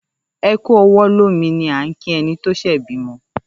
‘E̩ kú o̩wó̩ lómi’ ni à ń kí e̩ni tó s̩è̩ bímo